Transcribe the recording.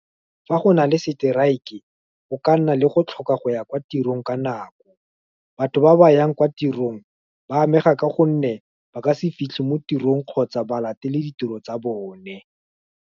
Fa go nale strike-e, go ka nna le go tlhoka go ya kwa tirong ka nako, batho ba ba yang kwa tirong, ba amega ka gonne, ba ka se fitlhe mo tirong, kgotsa ba latele ditiro tsa bone.